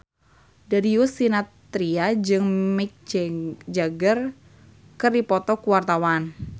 Darius Sinathrya jeung Mick Jagger keur dipoto ku wartawan